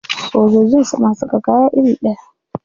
Sojojin suna saka kaya iri ɗaya?